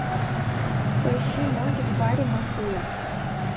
поищи ночь в баре маккула